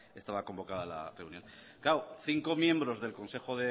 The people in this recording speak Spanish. estaba convocada la reunión claro cinco miembros del consejo